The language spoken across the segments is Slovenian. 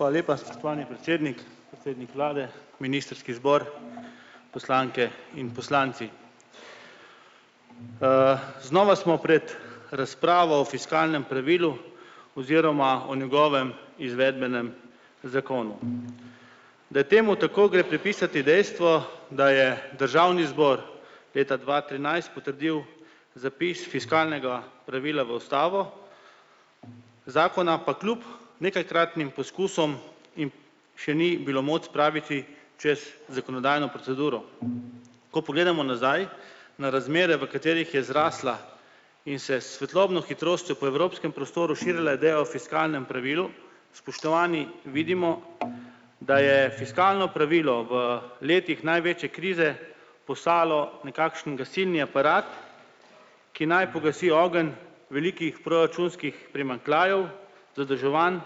Hvala lepa, spoštovani predsednik, predsednik vlade, ministrski zbor, poslanke in poslanci. Znova smo pred razpravo o fiskalnem pravilu oziroma o njegovem izvedbenem zakonu. Da je temu tako, gre pripisati dejstvu, da je državni zbor leta dva trinajst potrdil zapis fiskalnega pravila v ustavo. Zakona pa kljub nekajkratnim poskusom jim še ni bilo moč spraviti čez zakonodajno proceduro. Ko pogledamo nazaj na razmere, v katerih je zraslo in se s svetlobno hitrostjo po evropskem prostoru širila ideja o fiskalnem pravilu, spoštovani, vidimo, da je fiskalno pravilo v letih največje krize postalo nekakšen gasilni aparat, ki naj pogasi ogenj velikih proračunskih primanjkljajev, zadolževanj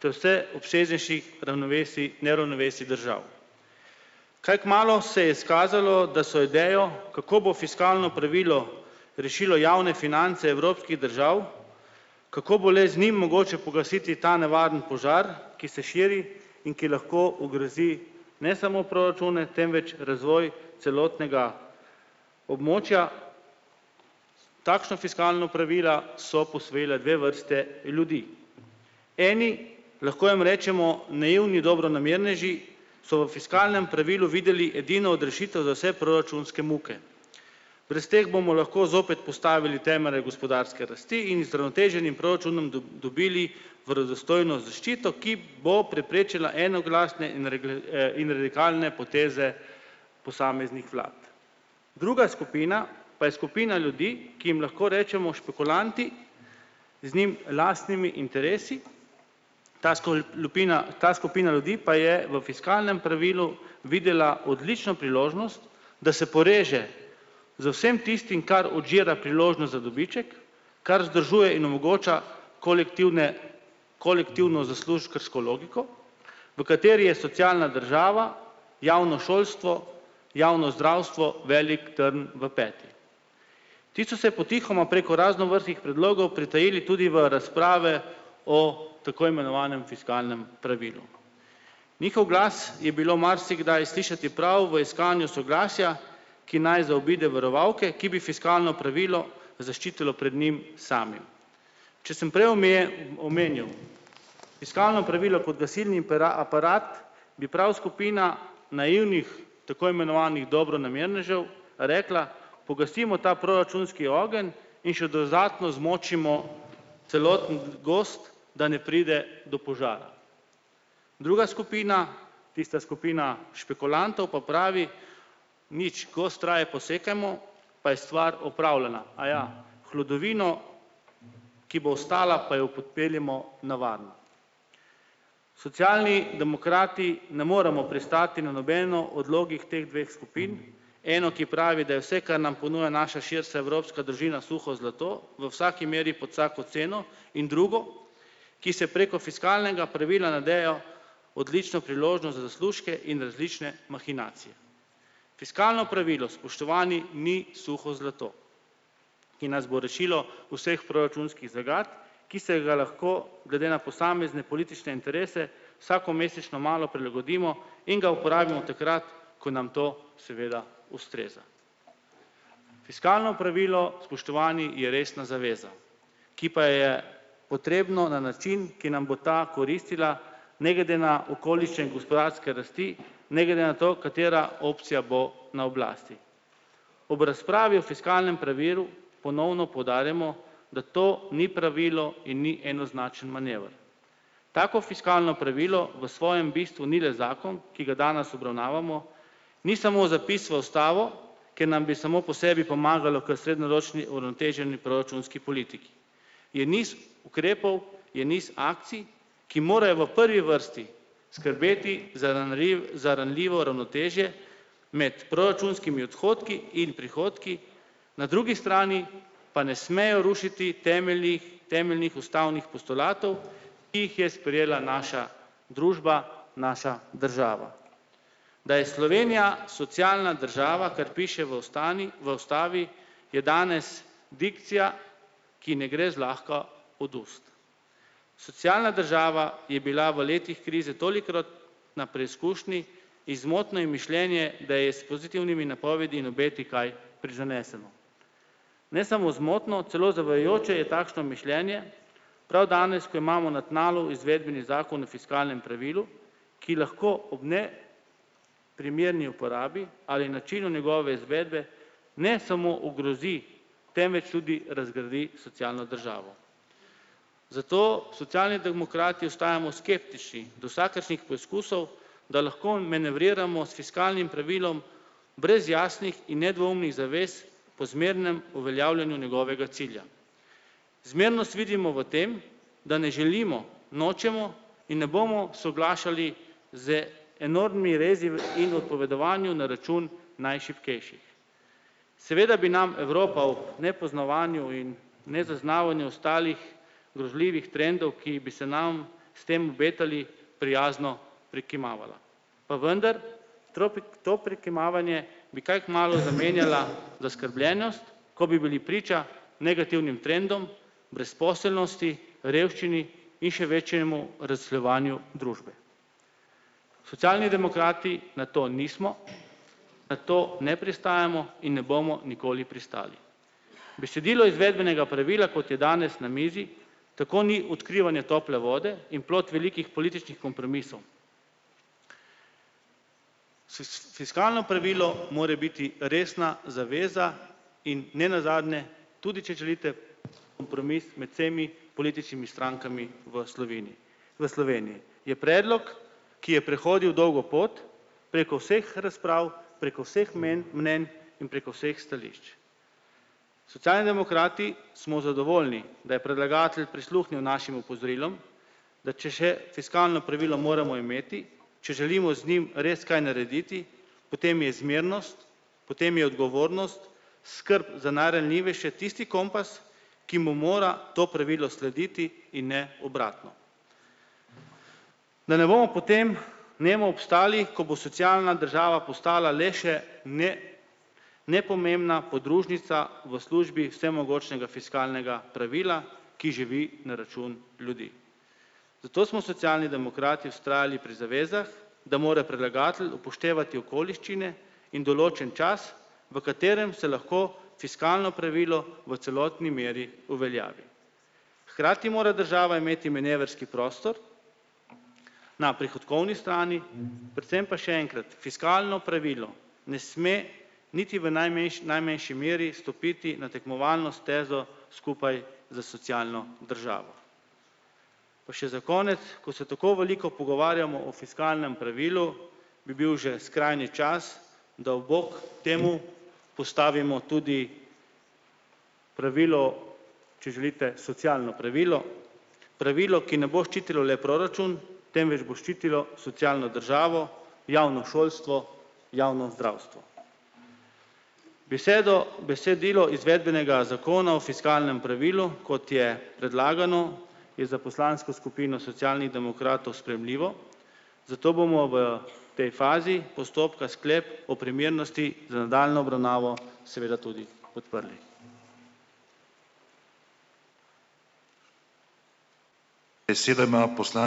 ter vse obsežnejših ravnovesij, neravnovesij držav. Kaj kmalu se je izkazalo, da so idejo, kako bo fiskalno pravilo rešilo javne finance evropskih držav, kako bo le z njim mogoče pogasiti ta nevarni požar, ki se širi in ki lahko ogrozi ne samo proračune, temveč razvoj celotnega območja. Takšna fiskalna pravila so posvojila dve vrsti ljudi. Eni, lahko jim rečemo naivni dobronamerneži so v fiskalnem pravilu videli edino odrešitev za vse proračunske muke. Brez tega bomo lahko zopet postavili temelje gospodarske rasti in z uravnoteženim proračunom dobili verodostojno zaščito, ki bo preprečila enoglasne in in radikalne poteze posameznih vlad. Druga skupina pa je skupina ljudi, ki jim lahko rečemo špekulanti z njim lastnimi interesi, ta lupina ta skupina ljudi pa je v fiskalnem pravilu videla odlično priložnost, da se poreže z vsem tistim, kar odžira priložnost za dobiček, kar zadržuje in omogoča kolektivne kolektivno zaslužkarsko logiko, v kateri je socialna država, javno šolstvo, javno zdravstvo velik trn v peti. Ti so se potihoma preko raznovrstnih predlogov pritajili tudi v razprave o tako imenovanem fiskalnem pravilu. Njihov glas je bilo marsikdaj slišati prav v iskanju soglasja, ki naj zaobide varovalke, ki bi fiskalno pravilo zaščitilo pred njim samim. Če sem prej omenil fiskalno pravilo kot gasilni aparat, bi prav skupina naivnih tako imenovanih dobronamernežev rekla: "Pogasimo ta proračunski ogenj in še dodatno zmočimo celoten gozd, da ne pride do požara." Druga skupina, tista skupina špekulantov pa pravi: "Nič, gozd raje posekajmo pa je stvar opravljena, aja, hlodovino, ki bo ostala, pa jo odpeljemo na varno." Socialni demokrati ne moremo pristati na nobeno odlogih teh dveh skupin. Eno, ki pravi, da je vse, kar nam ponuja naša širša evropska družina, suho zlato, v vsaki meri pod vsako ceno, in drugo, ki se preko fiskalnega pravila nadeja odlične priložnosti za zaslužke in različne mahinacije. Fiskalno pravilo, spoštovani, ni suho zlato, ki nas bo rešilo vseh proračunskih zagat, ki se ga lahko glede na posamezne politične interese vsakomesečno malo prilagodimo in ga uporabimo takrat, ko nam to seveda ustreza. Fiskalno pravilo, spoštovani, je resna zaveza, ki pa je potrebno na način, ki nam bo ta koristila, ne glede na okoliščine in gospodarske rasti, ne glede na to, katera opcija bo na oblasti. Ob razpravi o fiskalnem pravilu ponovno poudarjamo, da to ni pravilo in ni enoznačen manever. Tako fiskalno pravilo v svojem bistvu ni le zakon, ki ga danes obravnavamo, ni samo zapis v ustavo, ki nam bi samo po sebi pomagalo k srednjeročni uravnoteženi proračunski politiki. Je niz ukrepov, je niz akcij, ki morajo v prvi vrsti skrbeti za ranljivo ravnotežje med proračunskimi odhodki in prihodki na drugi strani, pa ne smejo rušiti temeljnih temeljnih ustavnih postulatov, ki jih je sprejela naša družba, naša država. Da je Slovenija socialna država, kar piše v v ustavi, je danes dikcija, ki ne gre zlahka od ust. Socialna država je bila v letih krize tolikrat na preizkušnji in zmotno je mišljenje, da je s pozitivnimi napovedmi in obeti kaj prizaneseno. Ne samo zmotno, celo zavajajoče je takšno mišljenje prav danes, ko imamo na tnalu izvedbeni zakon o fiskalnem pravilu, ki lahko ob ne primerni uporabi ali načinu njegove izvedbe ne samo ogrozi, temveč tudi razgradi socialno državo. Zato Socialni demokrati ostajamo skeptični do vsakršnih poizkusov, da lahko manevriramo s fiskalnim pravilom brez jasnih in nedvoumnih zavez po zmernem uveljavljanju njegovega cilja. Zmernost vidimo v tem, da ne želimo, nočemo, in ne bomo soglašali zdaj enormnimi rezi v in odpovedovanjem na račun najšibkejših. Seveda bi nam Evropa v nepoznavanju in nezaznavanju ostalih grozljivih trendov, ki bi se nam s tem obetali, prijazno prikimavala. Pa vendar to prikimavanje bi kaj kmalu zamenjala zaskrbljenost, ko bi bili priča negativnim trendom brezposelnosti, revščini in še večjemu razslojevanju družbe. Socialni demokrati na to nismo, na to ne pristajamo in ne bomo nikoli pristali. Besedilo izvedbenega pravila, kot je danes na mizi, tako ni odkrivanje tople vode in plod velikih političnih kompromisov. fiskalno pravilo more biti resna zaveza in nenazadnje, tudi če želite kompromis med vsemi političnimi strankami v Sloveniji. V Sloveniji je predlog, ki je prehodil dolgo pot preko vseh razprav, preko vseh mnenj in preko vseh stališč. Socialni demokrati smo zadovoljni, da je predlagatelj prisluhnil našim opozorilom, da če še fiskalno pravilo moramo imeti, če želimo z njim res kaj narediti, potem je zmernost, potem je odgovornost, skrb za najranljivejše tisti kompas, ki mu mora to pravilo slediti in ne obratno. Da ne bomo potem ne bomo obstali, ko bo socialna država postala le še nepomembna podružnica v službi vsemogočnega fiskalnega pravila, ki živi na račun ljudi. Zato smo Socialni demokrati vztrajali pri zavezah, da mora predlagatelj upoštevati okoliščine in določen čas, v katerem se lahko fiskalno pravilo v celotni meri uveljavi. Hkrati mora država imeti manevrski prostor na prihodkovni strani, predvsem pa še enkrat fiskalno pravilo ne sme niti v najmanjši najmanjši meri stopiti na tekmovalno stezo skupaj s socialno državo. Pa še za konec, ko se tako veliko pogovarjamo o fiskalnem pravilu, bi bil že skrajni čas da v bok temu postavimo tudi pravilo, če želite socialno pravilo, pravilo, ki ne bo ščitilo le proračun, temveč bo ščitilo socialno državo, javno šolstvo, javno zdravstvo. besedilo izvedbenega zakona o fiskalnem pravilu, kot je predlagano, je za poslansko skupino Socialnih demokratov sprejemljivo, zato bomo v tej fazi postopka sklep o primernosti za nadaljnjo obravnavo seveda tudi podprli.